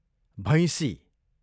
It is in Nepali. भैँसी